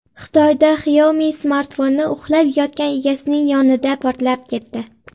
Xitoyda Xiaomi smartfoni uxlab yotgan egasining yonida portlab ketdi.